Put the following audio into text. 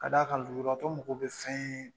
Ka d'a kan lujuratɔ mago be fɛn